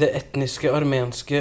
det etniske armenske